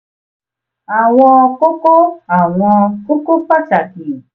àwọn kókó àwọn kókó pàtàkì